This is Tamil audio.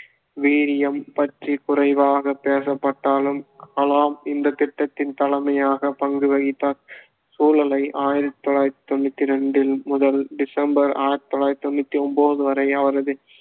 வீரியம் பற்றி குறைவாக பேசப்பட்டாலும் கலாம் இந்தத் திட்டத்தின் தலைமையாக பங்கு வகித்தார் சூழலை ஆயிரத்தி தொள்ளாயிரத்தி தொண்ணூத்தி இரண்டில் முதல் டிசம்பர் ஆயிரத்தி தொள்ளாயிரத்தி தொண்ணூத்தி ஒன்பது வரை அவரது